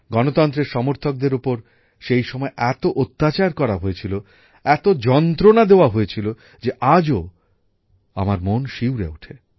গণতন্ত্রের সমর্থকদের ওপর সেই সময় এত অত্যাচার করা হয়েছিল এত যন্ত্রণা দেওয়া হয়েছিল যে আজও আমার মন শিউরে ওঠে